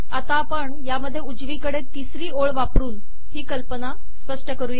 आता यात आपण उजवीकडे तिसरी ओळ वापरून ही कल्पना स्पष्ट करू